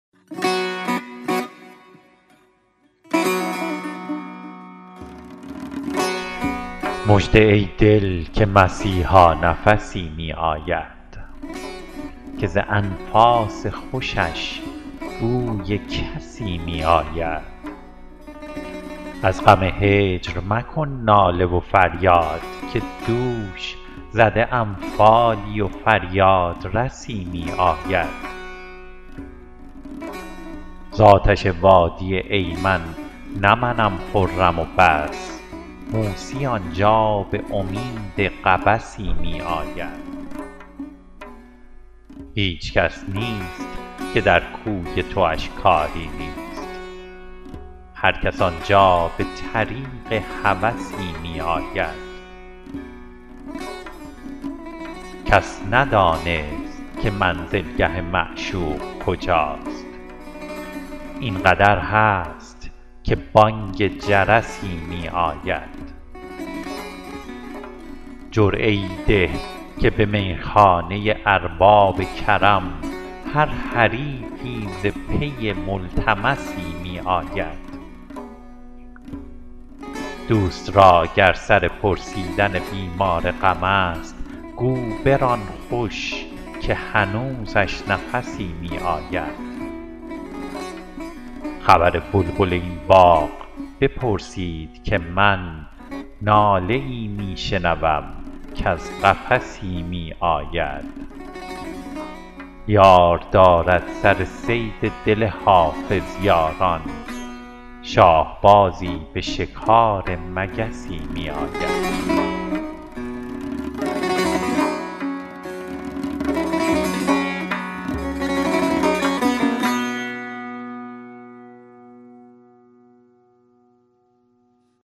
مژده ای دل که مسیحا نفسی می آید که ز انفاس خوشش بوی کسی می آید از غم هجر مکن ناله و فریاد که دوش زده ام فالی و فریادرسی می آید زآتش وادی ایمن نه منم خرم و بس موسی آنجا به امید قبسی می آید هیچ کس نیست که در کوی تواش کاری نیست هرکس آنجا به طریق هوسی می آید کس ندانست که منزلگه معشوق کجاست این قدر هست که بانگ جرسی می آید جرعه ای ده که به میخانه ارباب کرم هر حریفی ز پی ملتمسی می آید دوست را گر سر پرسیدن بیمار غم است گو بران خوش که هنوزش نفسی می آید خبر بلبل این باغ بپرسید که من ناله ای می شنوم کز قفسی می آید یار دارد سر صید دل حافظ یاران شاهبازی به شکار مگسی می آید